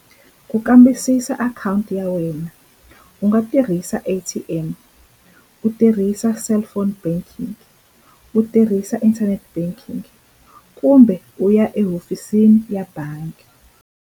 Ku kambisisa akhawunti ya wena u nga tirhisa A_T_M u tirhisa cellphone banking u tirhisa internet banking kumbe u ya ehofisini ya bangi.